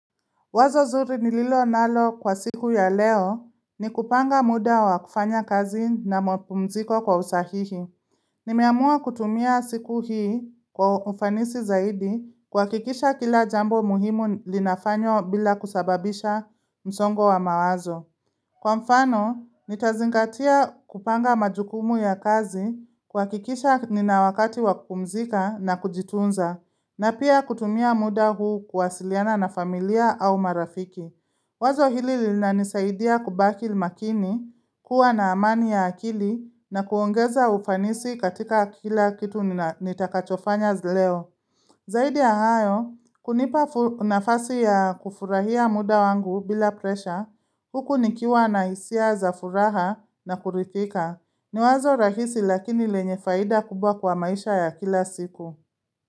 Wazo zuri nililo nalo kwa siku ya leo ni kupanga muda wa kufanya kazi na mapumziko kwa usahihi. Nimeamua kutumia siku hii kwa ufanisi zaidi kwa kuhakikisha kila jambo muhimu linafanywa bila kusababisha msongo wa mawazo. Kwa mfano, nitazingatia kupanga majukumu ya kazi, kuhakikisha ni na wakati wakupumzika na kujitunza, na pia kutumia muda huu kuwasiliana na familia au marafiki. Wazo hili linanisaidia kubakil makini, kuwa na amani ya akili, na kuongeza ufanisi katika kila kitu nitakachofanya leo. Zaidi ya hayo, kunipa nafasi ya kufurahia muda wangu bila presha, huku nikiwa na hisia za furaha na kurithika. Ni wazo rahisi lakini lenye faida kubwa kwa maisha ya kila siku.